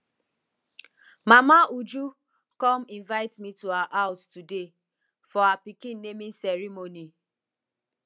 mama uju come invite me to her house today for her pikin naming ceremony